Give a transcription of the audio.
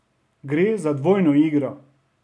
Gre za dvojno igro.